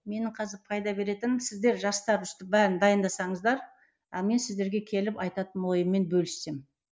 менің қазір пайда беретінім сіздер жастар өстіп бәрін дайындасаңыздар ал мен сіздерге келіп айтатын ойыммен бөліссем